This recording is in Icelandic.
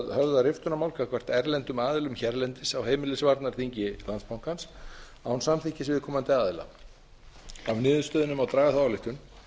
höfða riftunarmál gagnvart erlendum aðilum hérlendis á heimilisvarnarþingi landsbankans án samþykkis viðkomandi aðila af niðurstöðunni má draga þá ályktun